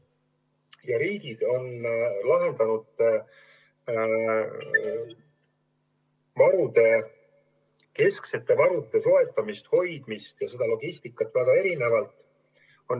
Ja riigid on lahendanud kesksete varude soetamist, hoidmist ja seda logistikat väga erinevalt.